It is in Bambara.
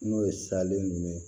N'o ye salen jumɛn ye